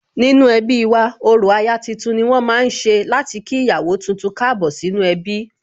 Nínú ẹbí wa, orò aya tuntun ni wón ma ń ṣe láti kí ìyàwó tuntun Káàbọ̀ sínú ẹbí